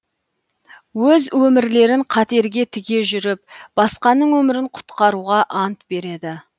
өз өмірлерін қатерге тіге жүріп басқаның өмірін құтқаруға ант береді